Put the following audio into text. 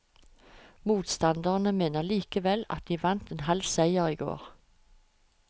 Motstanderne mener likevel at de vant en halv seier i går.